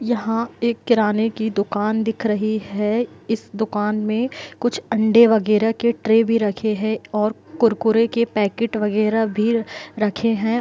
यहा एक किराने की दुकान दिख रही हैं इस दुकान मे कुछ अंडे वगेरा के ट्रे भी रखे हैं और कुरकुरे के पैकेट वगेरा भी रखे हैं।